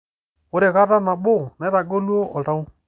Ore kata nabo, naitaguolo oltau.